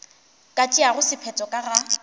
ka tšeago sephetho ka ga